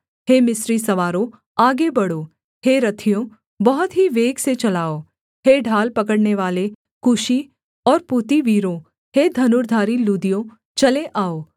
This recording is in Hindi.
हे मिस्री सवारों आगे बढ़ो हे रथियों बहुत ही वेग से चलाओ हे ढाल पकड़नेवाले कूशी और पूती वीरों हे धनुर्धारी लूदियों चले आओ